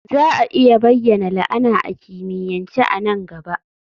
Za a iya bayyana la'ana a kimiyyance a nan gaba?